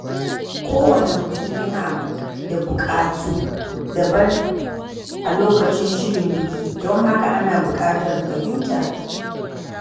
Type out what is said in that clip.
Kowane mutum yana da buƙatu daban a lokacin shirin biki, don haka ana buƙatar fahimta.